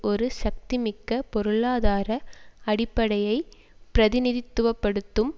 ஒரு சக்திமிக்க பொருளாதார அடிப்படையை பிரதிநிதித்துவ படுத்தும்